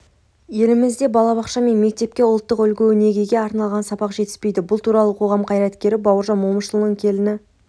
елімізде балабақша пен мектепке ұлттық үлгі-өнегеге арналған сабақ жетіспейді бұл туралы қоғам қайраткері бауыржан момышұлының келіні